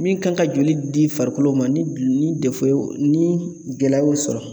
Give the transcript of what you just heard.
Min kan ka joli di farikolo ma ni gul ni y'o ni gɛlɛya y'o sɔrɔ